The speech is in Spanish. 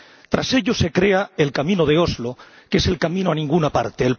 Tras ello, se crea el camino de Oslo, que es el camino a ninguna parte.